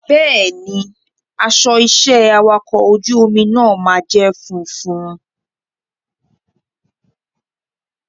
Bẹ́ẹ̀ni, aṣọ iṣẹ́ awakọ̀ ojú omi náà máa jẹ́ funfun.